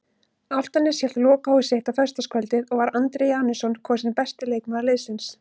Álftanes hélt lokahóf sitt á föstudagskvöldið og var Andri Janusson kosinn besti leikmaður liðsins.